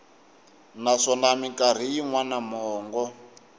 naswona mikarhi yin wana mongo